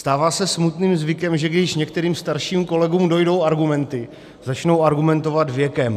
Stává se smutným zvykem, že když některým starším kolegům dojdou argumenty, začnou argumentovat věkem.